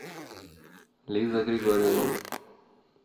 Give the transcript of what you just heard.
лиза григорьевна